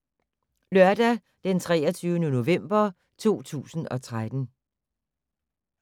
Lørdag d. 23. november 2013